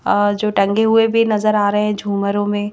अ जो टंगे हुए भी नज़र आ रहे हैं झूमरों में--